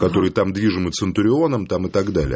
который там движимый центурионом там и так далее